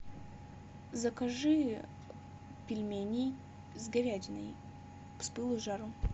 закажи пельмени с говядиной с пылу с жару